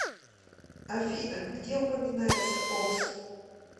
афина где упоминается окс